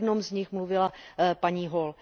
O jednom z nich mluvila paní Hall.